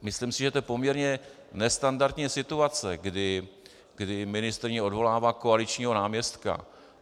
Myslím si, že je to poměrně nestandardní situace, kdy ministryně odvolává koaličního náměstka.